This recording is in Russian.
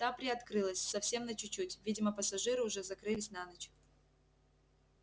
та приоткрылась совсем на чуть-чуть видимо пассажиры уже закрылись на ночь